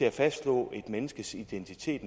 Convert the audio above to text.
at fastslå et menneskes identitet